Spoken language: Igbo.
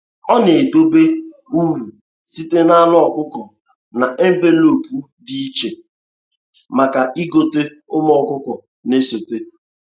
Ọ na-edobe uru sitere n’anụ ọkụkọ na envelopu dị iche maka ịgote ụmụ ọkụkọ na-esote.